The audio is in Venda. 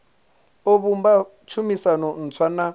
o vhumba tshumisano ntswa na